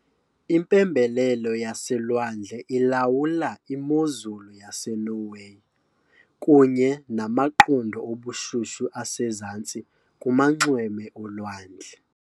Impembelelo yaselwandle ilawula imozulu yaseNorway, kunye namaqondo obushushu asezantsi kumanxweme olwandle.